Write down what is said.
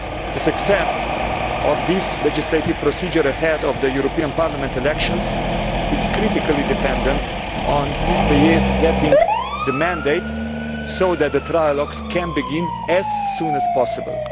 The success of this legislative procedure ahead of the European Parliament elections is critically dependent on Ms Bélier getting the mandate so that the trialogues can begin as soon as possible.